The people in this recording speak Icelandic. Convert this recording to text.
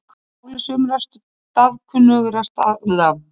Í máli sumra staðkunnugra þarna er það gil líka nefnt Gljúfragil.